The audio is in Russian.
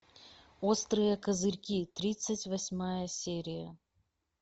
острые козырьки тридцать восьмая серия